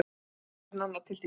Var sofandi nánar tiltekið.